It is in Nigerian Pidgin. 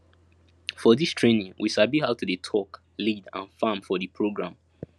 for dis trainingwe sabi how to dey talk lead and farm for di program